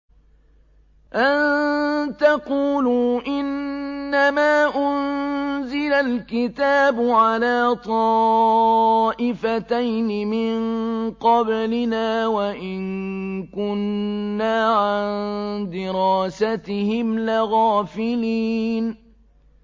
أَن تَقُولُوا إِنَّمَا أُنزِلَ الْكِتَابُ عَلَىٰ طَائِفَتَيْنِ مِن قَبْلِنَا وَإِن كُنَّا عَن دِرَاسَتِهِمْ لَغَافِلِينَ